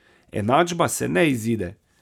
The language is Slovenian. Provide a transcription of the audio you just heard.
Enačba se ne izide.